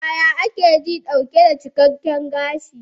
Yaya ake ji dauke da cikakken gashi?